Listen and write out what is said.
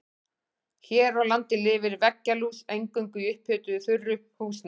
Hér á landi lifir veggjalús eingöngu í upphituðu þurru húsnæði.